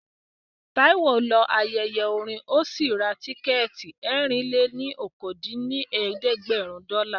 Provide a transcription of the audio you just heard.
Táíwò lọ ayẹyẹ orin ó sì ra tíkẹ̀ẹ̀tì ẹ̀rin-lé-ní-okòó dín ní ẹ̀ẹ́dẹ́gbẹ́rún dọ́là